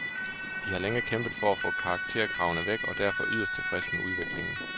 De har længe kæmpet for at få karakterkravene væk og er derfor yderst tilfreds med udviklingen.